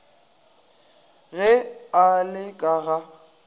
ge a le ka ga